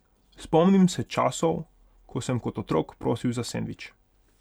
Spomnim se časov, ko sem kot otrok prosil za sendvič.